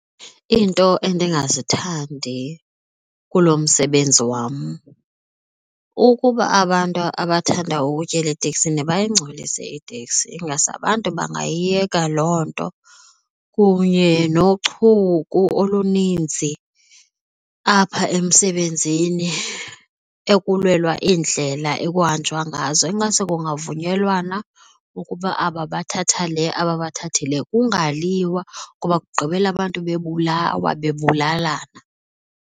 Iinto endingazithandi kulo msebenzi wam, ukuba abantu abathanda ukutyela eteksini bayingcolise iteksi. Ingase abantu bangayiyeka loo nto kunye nochuku oluninzi apha emsebenzini, ekulwelwa iindlela ekuhanjwa ngazo. Ingase kungavunyelwana ukuba aba bathatha, le aba bathathe le kungaliwa ngoba kugqibela abantu bebulawa bebulalana.